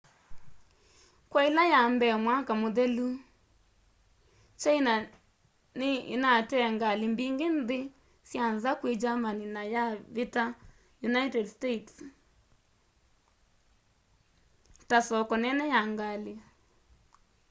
kwa ila ya mbee mwaka muthelu china ni inatee ngali mbingi nthi sya nza kwi germany na yavita united states ta soko nene ya ngali